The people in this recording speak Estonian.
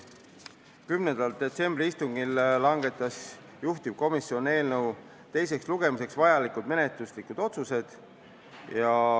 10. detsembri istungil langetas juhtivkomisjon eelnõu teiseks lugemiseks vajalikud menetluslikud otsused.